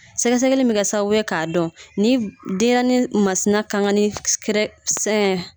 Sɛgɛ sɛgɛli in bɛ kɛ k'a dɔn ni denɲɛrɛnin masina kan ka ni kɛrɛ sɛn